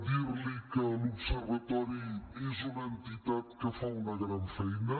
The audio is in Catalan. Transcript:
dir li que l’observatori és una entitat que fa una gran feina